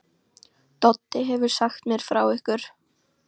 Doddi hefur sagt mér frá ykkur.